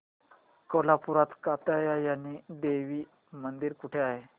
कोल्हापूरात कात्यायनी देवी मंदिर कुठे आहे